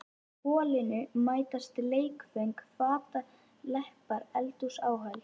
Í holinu mætast leikföng fataleppar eldhúsáhöld.